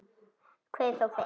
Kveður þó fyrst.